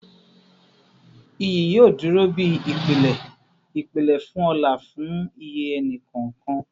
Iyi yoo duro bi ipilẹ ipilẹ fun ọlá fun iye ẹni kọọkan